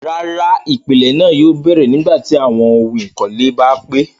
Rárá, ipilẹ̀ náà yóò bẹ̀rẹ̀ nígbàtí awọn ohun èlò ìkọ́lé bá pé